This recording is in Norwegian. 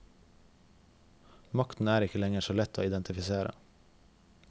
Makten er ikke lenger så lett å identifisere.